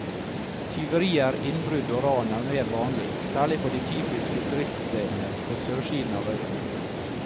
Tyverier, innbrudd og ran er mer vanlig, særlig på de typiske turiststedene på sørsiden av øya.